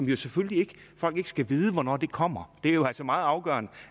jo selvfølgelig ikke skal vide hvornår kommer det er jo altså meget afgørende